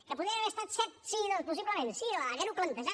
que podien haver estat set sí doncs possiblement sí haver ho plantejat